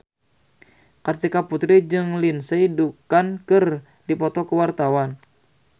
Kartika Putri jeung Lindsay Ducan keur dipoto ku wartawan